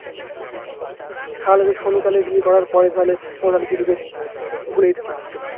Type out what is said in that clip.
তাহলেতো সোনু তাহলে বিয়ে করার পরে তাহলে ও তাহলে কে ভুলে যেতে পারতো